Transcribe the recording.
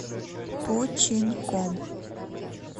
починком